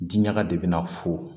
Diɲaga de bɛna fo